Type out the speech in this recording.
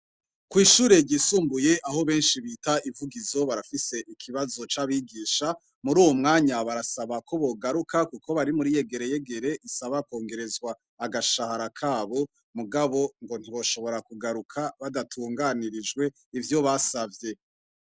Kwishure ryisumbuye aho benshi bita ivugizo barafise ikibazo cabigisha muruwu mwanya barasaba ko bogaruka kuko bari muriyegeregere basaba ko bokongerezwa agashahara kabo mugabo ngo ntiboshobora kugaruka badatunganirijwe ivyo basavye